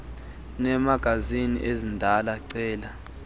uneemagazini ezindala cela